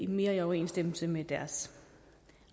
mere i overensstemmelse med deres